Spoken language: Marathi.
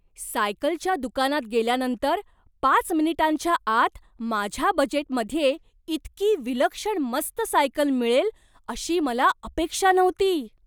सायकलच्या दुकानात गेल्यानंतर पाच मिनिटांच्या आत माझ्या बजेटमध्ये इतकी विलक्षण मस्त सायकल मिळेल अशी मला अपेक्षा नव्हती.